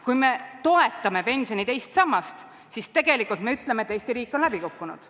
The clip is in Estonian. Kui me toetame pensioni teist sammast, siis tegelikult me ütleme, et Eesti riik on läbi kukkunud.